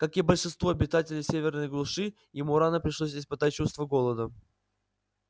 как и большинству обитателей северной глуши ему рано пришлось испытать чувство голода